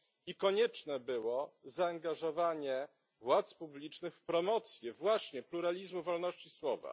i konieczne było zaangażowanie władz publicznych w promocję właśnie pluralizmu, wolności słowa?